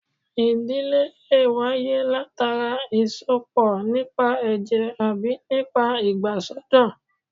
Ìdílé lè wáyé látara ìsọpọ̀ nípa ẹ̀jẹ̀ àbí nípa ìgbàsọ́dọ̀